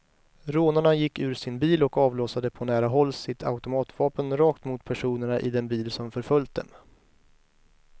Rånarna gick ur sin bil och avlossade på nära håll sitt automatvapen rakt mot personerna i den bil som förföljt dem.